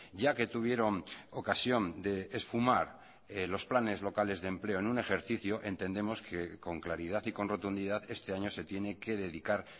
ya que tuvieron ocasión de esfumar los planes locales de empleo en un ejercicio entendemos que con claridad y con rotundidad este año se tiene que dedicar